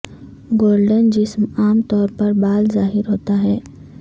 golden جسم عام طور پر بال ظاہر ہوتا ہے